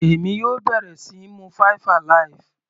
Èmi yóò bẹ̀rẹ̀ síí mu five alive.